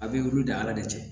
A bɛ olu de ala de cɛ